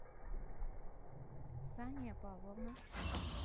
сания павловна